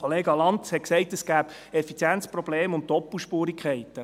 Kollega Lanz hat gesagt, es gebe Effizienzprobleme und Doppelspurigkeiten.